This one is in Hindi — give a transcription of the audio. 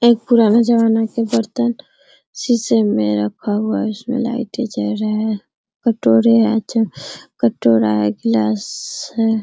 एक पुराना जमाना के बर्तन शीशे मे रखा हुआ है उसमें लाइटें जल रहे हैं कोटरे है अच्छा कटोरा है ग्लास है।